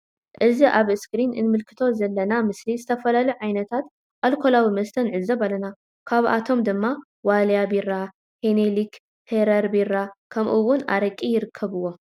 እዚ ኣብ ኣስክሪን እንምልከቶ ዘለና ምስሊ ዝተፈላለዩ ዓይነታት ኣልኮላዊ መስተ ንዕዘብ ኣለና. ካብኣቶም ድማ ዋልያ ቢራ ,ሂኒኪን ,ሕረር ቢራ ከምኡ እውን ኣረቂ ይርከብዎም።